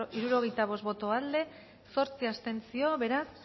hirurogeita bost boto aldekoa zortzi abstentzio beraz